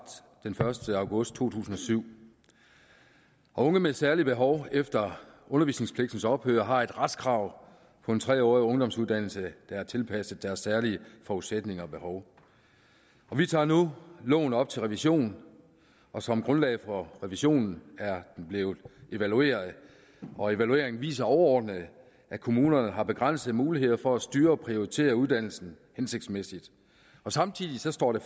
den første august to tusind og syv unge med særlige behov efter undervisningspligtens ophør har et retskrav på en tre årig ungdomsuddannelse der er tilpasset deres særlige forudsætninger og behov vi tager nu loven op til revision som grundlag for revisionen er den blevet evalueret og evalueringen viser overordnet at kommunerne har begrænsede muligheder for at styre og prioritere uddannelsen hensigtsmæssigt samtidig står det